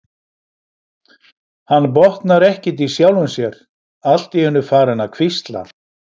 Hann botnar ekkert í sjálfum sér, allt í einu farinn að hvísla.